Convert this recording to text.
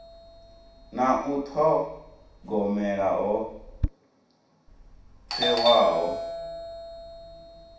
na u thogomela ho thewaho